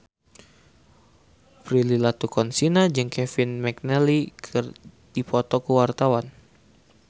Prilly Latuconsina jeung Kevin McNally keur dipoto ku wartawan